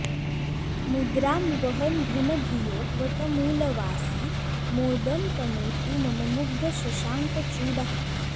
मुद्रां वहन् घनधियो वटमूलवासी मोदं तनोतु मम मुग्धशशाङ्कचूडः